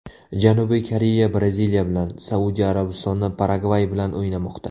Janubiy Koreya Braziliya bilan, Saudiya Arabistoni Paragvay bilan o‘ynamoqda.